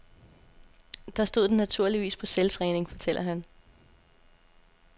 Der stod den naturligvis på selvtræning, fortæller han.